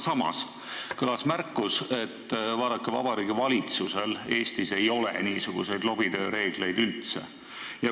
Samas kõlas märkus, et Eesti valitsusel ei ole niisuguse lobitöö reegleid üldse olemas.